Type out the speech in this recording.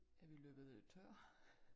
Er vi løbet tør?